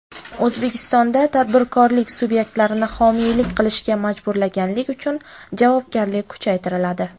O‘zbekistonda tadbirkorlik subyektlarini homiylik qilishga majburlaganlik uchun javobgarlik kuchaytiriladi.